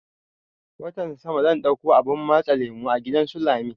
Watan sama zan ɗauko abun matse lemo a gidan su lami